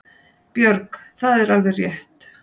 Björg: Það er alveg rétt.